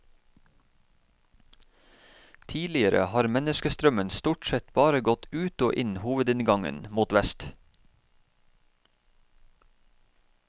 Tidligere har menneskestrømmen stort sett bare gått ut og inn hovedinngangen, mot vest.